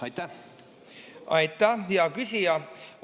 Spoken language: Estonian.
Aitäh, hea küsija!